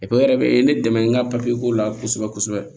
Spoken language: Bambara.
wɛrɛ bɛ ne dɛmɛ n ka ko la kosɛbɛ kosɛbɛ